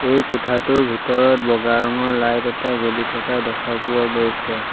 এই কোঠাটোৰ ভিতৰত বগা ৰঙৰ লাইট এটা জ্বলি থকা দেখা পোৱা গৈছে।